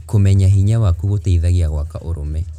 Kũmenya hinya waku gũteithagia gwaka ũrũme.